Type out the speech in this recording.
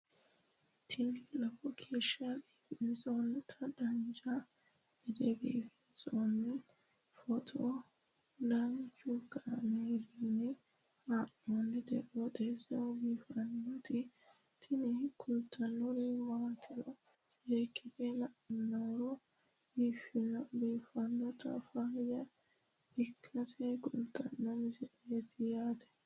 tini lowo geeshsha biiffannoti dancha gede biiffanno footo danchu kaameerinni haa'noonniti qooxeessa biiffannoti tini kultannori maatiro seekkine la'niro biiffannota faayya ikkase kultannoke misileeti yaate